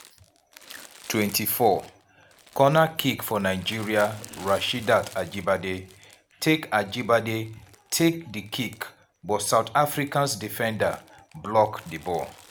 24' corner kick for nigeria rasheedat ajibade take ajibade take di kick but south african defenders block di ball.